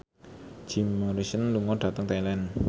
Jim Morrison lunga dhateng Thailand